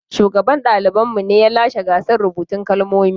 Shugaban ɗaliban mu ne ya lashe gasar rubutun kalmomi.